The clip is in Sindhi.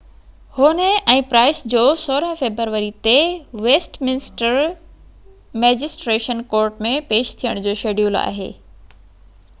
هونهي ۽ پرائس جو 16 فيبروري تي ويسٽ منسٽر مئجسٽريٽس ڪورٽ ۾ پيش ٿيڻ جو شيڊيول آهي